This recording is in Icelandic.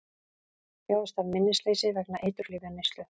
Þjáist af minnisleysi vegna eiturlyfjaneyslu